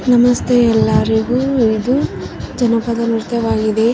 ನಮಸ್ತೆ ಎಲ್ಲರಿಗು ಇದು ಜನಪದ ನೃತ್ಯವಾಗಿದೆ.